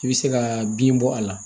I bɛ se ka bin bɔ a la